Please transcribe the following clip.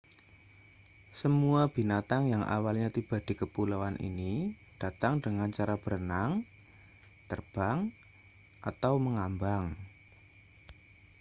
semua binatang yang awalnya tiba di kepulauan ini datang dengan cara berenang terbang atau mengambang